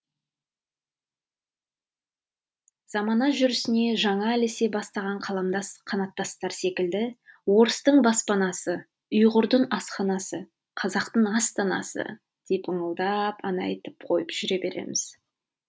замана жүрісіне жаңа ілесе бастаған қаламдас қанаттастар секілді орыстың баспанасы ұйғырдың асханасы қазақтың астанасы деп ыңылдап ән айтып қойып жүре береміз